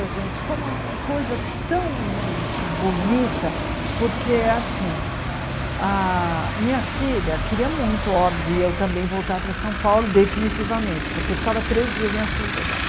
Olha, gente, foi uma coisa tão bonita, porque, assim, a minha filha queria muito, óbvio, eu também voltar para São Paulo, definitivamente, porque eu ficava três dias em Assis e voltava.